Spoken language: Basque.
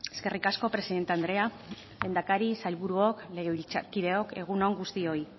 eskerrik asko presidente andrea lehendakari sailburuok legebiltzarkideok egun on guztioi